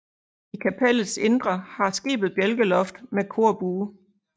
I kapellets indre har skibet bjælkeloft med korbue